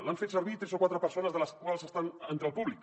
l’han fet servir tres o quatre persones que estan entre el públic